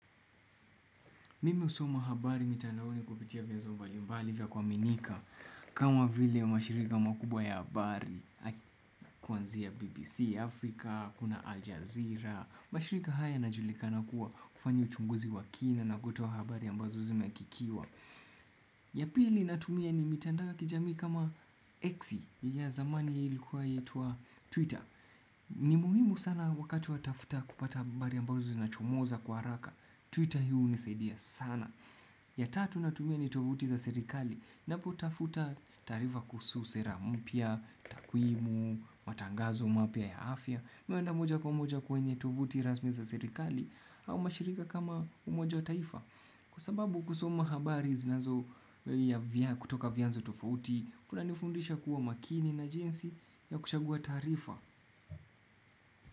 Mimi husoma habari mitandaoni kupitia vyombo mbalimbali vya kuaminika kama vile ya mashirika makubwa ya habari kama BBC, Afrika, kuna Al Jazeera. Mashirika haya yanajulikana kuwa kufanya uchunguzi wa kina na kutoa habari ambazo zimethibitishwa. Ya pili ninatumia ni mitandao ya kijamii kama X ya zamani iliyokuwa ikiitwa Twitter. Ni muhimu sana wakati unatafuta habari ambazo zinachomoza kwa haraka. Twitter hunisaidia sana. Ya tatu ninayotumia ni tovuti za serikali ninapotafuta taarifa kuhusu sera mpya, takwimu, matangazo mapya ya afya. Mimi huenda moja kwa moja kwenye tovuti rasmi za serikali au mashirika kama umoja wa mataifa. Kwa sababu kusoma habari zinazo kutoka vianzo tofauti kunanifundisha kuwa makini na jinsi ya kuchagua taarifa.